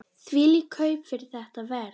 Þvílík kaup fyrir þetta verð!